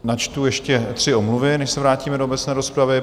Načtu ještě tři omluvy, než se vrátíme do obecné rozpravy.